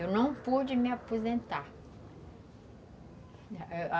Eu não pude me aposentar.